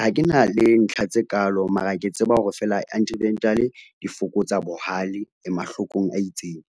Ha ke na le ntlha tse kalo mara ke tseba hore feela di fokotsa bohale le mahlokong a itseng.